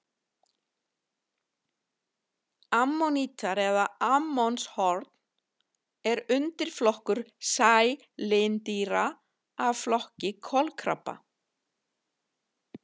Ammonítar eða ammonshorn er undirflokkur sælindýra af flokki kolkrabba.